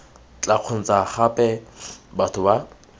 tla kgontsha gape batho ba